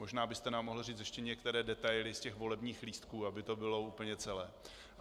Možná byste nám mohl říct ještě některé detaily z těch volebních lístků, aby to bylo úplně celé.